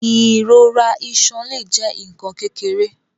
Ìrora iṣan le jẹ nkan kékeré.